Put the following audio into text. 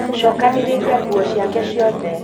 cokanĩrĩria ngũo ciake ciothe